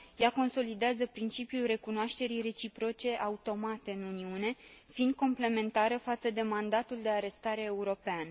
Ea consolidează principiul recunoașterii reciproce automate în Uniune, fiind complementară față de mandatul de arestare european.